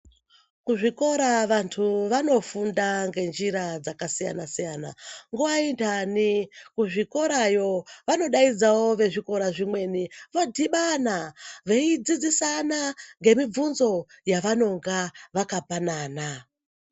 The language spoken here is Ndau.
Kuzvikora vantu vanofunda ngenjira dzakasiyana-siyana. Nguwa inhani kuzvikorayo vanodaidzawo vezvikora zvimweni, vodhibana veidzidzisina ngemibvunzo yavanonga vakapanana.